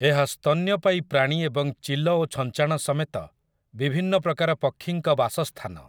ଏହା ସ୍ତନ୍ୟପାୟୀ ପ୍ରାଣୀ ଏବଂ ଚିଲ ଓ ଛଞ୍ଚାଣ ସମେତ ବିଭିନ୍ନ ପ୍ରକାର ପକ୍ଷୀଙ୍କ ବାସସ୍ଥାନ ।